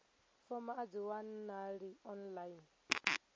fomo a dzi wanalei online